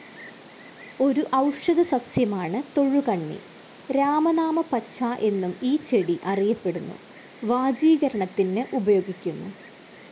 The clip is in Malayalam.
ഒരു ഔഷധസസ്യമാണു് തൊഴുകണ്ണി. രാമനാമപ്പച്ച എന്നും ഈ ചെടി അറിയപ്പെടുന്നു. വാജീകരണത്തിന് ഉപയോഗിക്കുന്നു.